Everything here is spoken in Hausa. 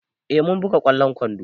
Eh mun buga ƙwallon kwando.